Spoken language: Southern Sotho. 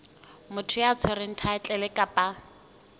motho ya tshwereng thaetlele kapa